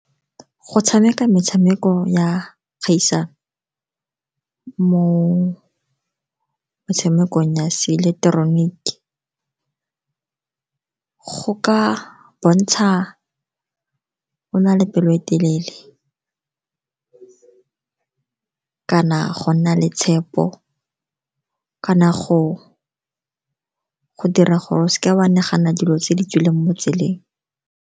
Go tshameka metshameko ya kgaisano mo metshamekong ya se ileketeroniki go ka bontsha o na le pelo e telele, go kana go nna le tshepo, kana go dira gore o se ke wa nagana dilo tse di tswileng mo tseleng.